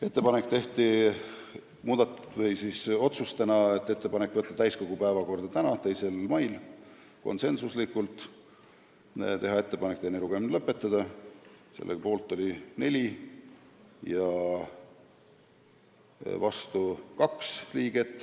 Langetasime ka menetluslikud otsused: teha ettepanek võtta eelnõu täiskogu tänase, 2. mai istungi päevakorda , teha ettepanek teine lugemine lõpetada .